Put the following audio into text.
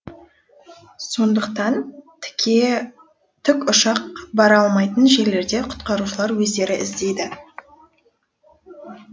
сондықтан тіке тікұшақ бара алмайтын жерлерде құтқарушылар өздері іздейді